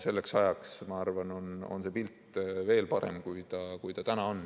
Selleks ajaks, ma arvan, on see pilt veel parem, kui ta täna on.